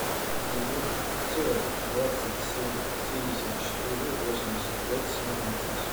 девятьсот двадцать семь семьдесят четыре восемьдесят пять семнадцать